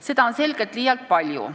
Seda on selgelt liialt palju.